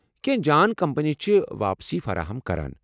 کینٛہہ جان کمپنی چھِ واپسی فراہم کران۔